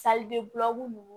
ninnu